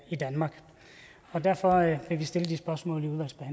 i danmark og derfor vil vi stille de spørgsmål